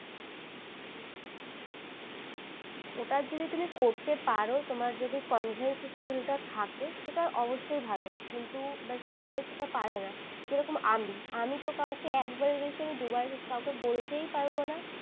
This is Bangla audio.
ওটা যদি তুমি করতে পারো তোমার যদি convince skill টা থাকে সেটা অবশই ভালো কিন্তু সবাই সেটা পারে না যেরকম আমি আমি তো কাউকে একবারের বেশি দুবার সেটা কাউকে বলতে পারবো না।